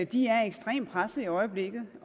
de er ekstremt presset i øjeblikket